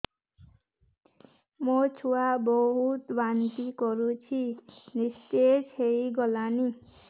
ମୋ ଛୁଆ ବହୁତ୍ ବାନ୍ତି କରୁଛି ନିସ୍ତେଜ ହେଇ ଗଲାନି